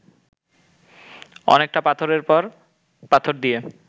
অনেকটা পাথরের পর পাথর দিয়ে